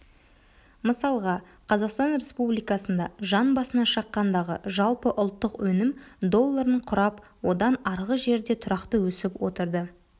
мысалға қазақстан республикасында жан басына шаққандағы жалпы ұлттық өнім долларын құрап одан арғы жерде тұрақты өсіп отырды